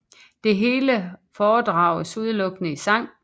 Det hele foredrages udelukkende i sang